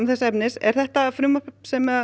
þess efnis er þetta frumvarp sem